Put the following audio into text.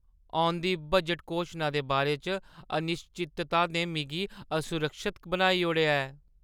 औंदी बजट घोशना दे बारे च अनिश्चितता ने मिगी असुरक्षत बनाई ओड़ेआ ऐ।